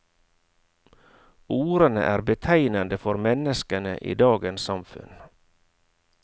Ordene er betegnende for menneskene i dagens samfunn.